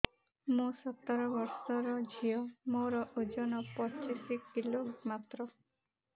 ମୁଁ ସତର ବୟସର ଝିଅ ମୋର ଓଜନ ପଚିଶି କିଲୋ ମାତ୍ର